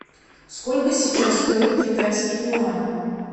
сколько сейчас стоит китайский юань